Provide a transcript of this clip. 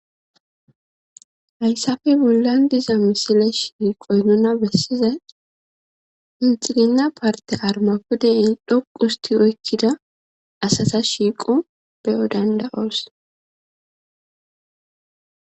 Hayssafe bollan diza misile shiiqoy nuna bessiza inxiginna parte armapudei dhoqu usti oykkida asata shiiqu beyo danda7oos